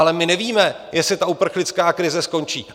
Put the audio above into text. Ale my nevíme, jestli ta uprchlická krize skončí.